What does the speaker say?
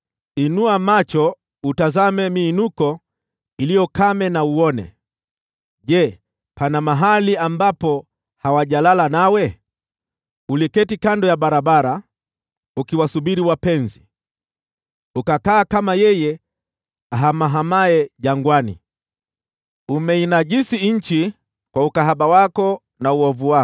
“Inua macho utazame miinuko iliyo kame na uone. Je, pana mahali ambapo hawajalala nawe? Uliketi kando ya barabara ukiwasubiri wapenzi, ukakaa kama yeye ahamahamaye jangwani. Umeinajisi nchi kwa ukahaba wako na uovu wako.